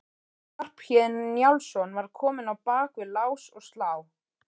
Skarphéðinn Njálsson var kominn á bak við lás og slá.